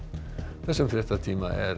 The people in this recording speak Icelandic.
þessum fréttatíma er